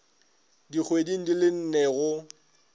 dikgweding di le nne go